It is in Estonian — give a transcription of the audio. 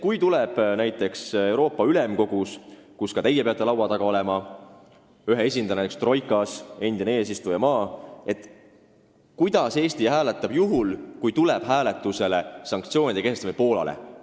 Kui tuleb asi arutusele näiteks Euroopa Ülemkogus, kus ka teie peate näiteks troikas ühe esindajana ehk endise eesistujamaa esindajana laua taga olema, kuidas Eesti hääletab juhul, kui tuleb otsustada sanktsioonide kehtestamine Poolale?